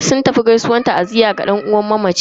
Sun tafi gaisuwan ta'aziyya ma yan uwan mamacin.